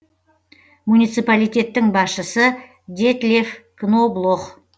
муниципалитеттің басшысы детлеф кноблох